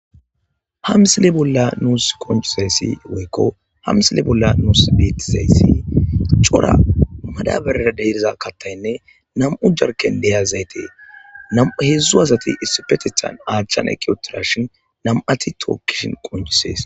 ha msile bolla nuus qoncizayssi woykko ha msile bolla nuus beettizayssi cora madaberera de'iza kattaynne nam'u jarken deyazaytee namu heedzdzu asati issipetethan aachchan eqi otirashin nam'ati tookkishin qoncees